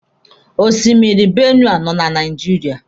Osimiri Benue nọ na Naijiria.